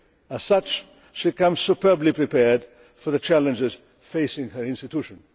As such, she comes superbly prepared for the challenges facing her institution.